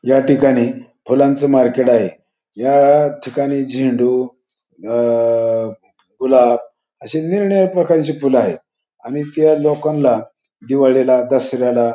या ठिकाणी फुलांच मार्केट आहे. या ठिकाणी झेंडू अ गुलाब अश्या निरनिराळ्या प्रकारची फूल आहेत आणि त्या लोकाना दिवाळीला दसऱ्याला --